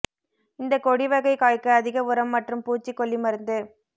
இந்த கொடி வகை காய்க்கு அதிக உரம் மற்றும் பூச்சிக்கொல்லி மருந்து